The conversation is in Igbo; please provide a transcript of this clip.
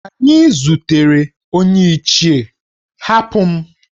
Anyi zutere onye Ichie, Hapụ m!